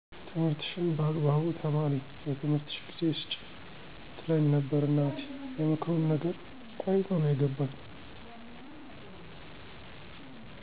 ትምህርትሽን በአግባቡ ተማሪ ለትምህርትሽ ጊዜ ስጪ ትለኝ ነበር እናቴ የምክሩን ነገር ቆይቶ ነው የገባኝ